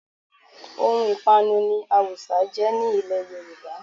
Ohun ìpanu ni awùsá jẹ́ ní ilẹ̀ Yorùbá